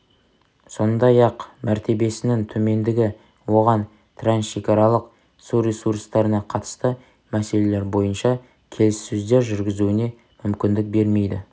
сондай-ақ мәртебесінің төмендігі оған трансшекаралық су ресурстарына қатысты мселелер бойынша келіссөздер жүргізуіне мүмкіндік бермейді